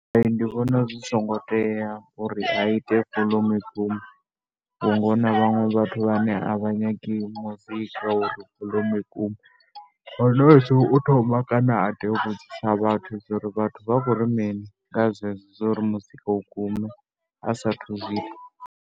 Ndi vhona zwi songo tea uri a ite volomu i gume, vhunga hu na vhaṅwe vhathu vhane a vha nyagi muzika u ri volomu i gume. Nahone u tea u thoma kana tea a vhudzisa vhathu zwa uri vhathu vha khou ri mini nga zwezwo zwa uri muzika u gume, a saathu zwi ita.